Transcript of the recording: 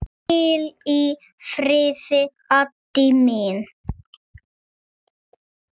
Hvíl í friði, Addý mín.